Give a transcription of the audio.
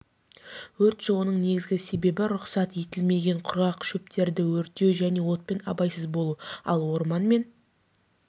өрт шығуының негізгі себебі рұқсат етілмеген құрғақ шөптерді өртеу және отпен абайсыз болу ал орман мен